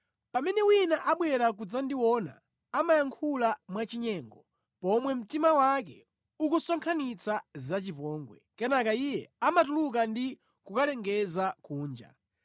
Pamene wina abwera kudzandiona, amayankhula mwachinyengo, pomwe mtima wake ukusonkhanitsa zachipongwe; kenaka iye amatuluka ndi kukalengeza kunja.